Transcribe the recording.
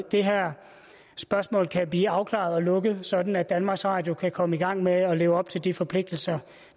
det her spørgsmål kan blive afklaret og lukket sådan at danmarks radio kan komme i gang med at leve op til de forpligtelser